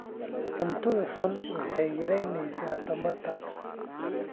Cuntada xun waxay yaraynaysaa tamarta.